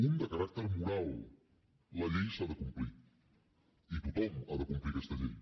un de caràcter moral la llei s’ha de complir i tothom ha de complir aquesta llei